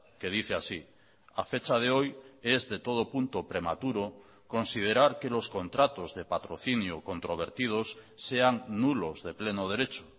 que dice así a fecha de hoy es de todo punto prematuro considerar que los contratos de patrocinio controvertidos sean nulos de pleno derecho